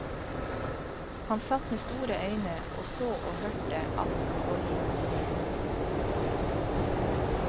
Han satt med store øyne og så og hørte alt som foregikk på scenen.